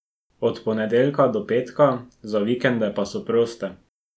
Od ponedeljka do petka, za vikende pa so proste.